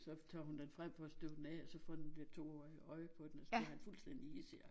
Så tager hun den frem for at støve den af og så får den der toårige øje på den og så bliver han fuldstændig hidsig